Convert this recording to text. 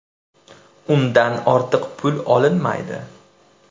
Undan ortiq pul olinmaydi.